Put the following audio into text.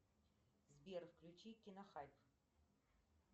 сбер включи кино хайп